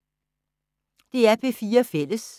DR P4 Fælles